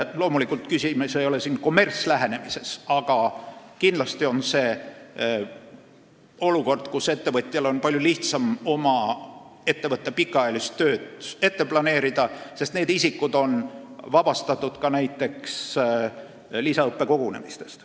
Loomulikult, küsimus ei ole siin kommertslähenemises, aga kindlasti on selles olukorras ettevõtjal palju lihtsam oma ettevõtte pikaajalist tööd planeerida, sest need isikud on vabastatud ka näiteks rahuajal toimuvatest lisaõppekogunemistest.